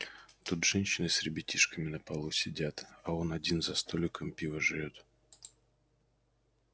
тут женщины с ребятишками на полу сидят а он один за столиком пиво жрёт